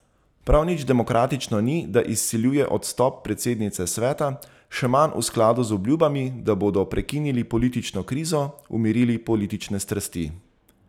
Prav nič demokratično ni, da izsiljuje odstop predsednice sveta, še manj v skladu z obljubami, da bodo prekinili politično krizo, umirili politične strasti.